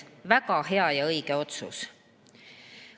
Väga hea ja õige otsus!